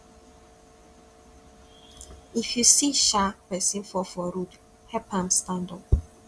if you see um pesin fall for road help am stand up